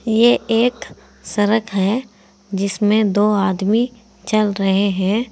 ये एक सड़क है जिसमें दो आदमी चल रहे हैं।